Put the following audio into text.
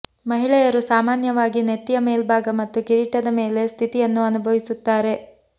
ಮಹಿಳೆಯರು ಸಾಮಾನ್ಯವಾಗಿ ನೆತ್ತಿಯ ಮೇಲ್ಭಾಗ ಮತ್ತು ಕಿರೀಟದ ಮೇಲೆ ಸ್ಥಿತಿಯನ್ನು ಅನುಭವಿಸುತ್ತಾರೆ